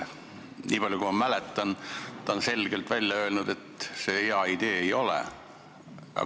Nii palju kui ma mäletan, on ta selgelt välja öelnud, et see hea idee ei ole.